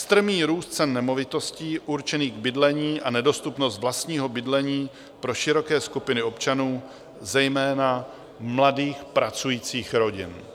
Strmý růst cen nemovitostí určených k bydlení a nedostupnost vlastního bydlení pro široké skupiny občanů, zejména mladých pracujících rodin.